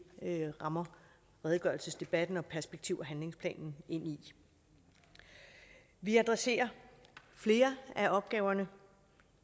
rammer redegørelsesdebatten og perspektiv og handlingsplanen ind i vi adresserer flere af opgaverne